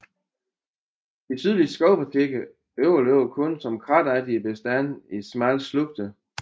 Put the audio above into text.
De sydligste skovpartier overlever kun som kratagtige bestande i smalle slugter